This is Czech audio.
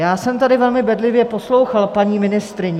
Já jsem tady velmi bedlivě poslouchal paní ministryni...